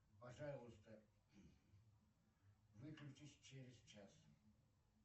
пожалуйста выключись через час